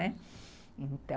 Então...